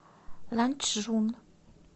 ланчжун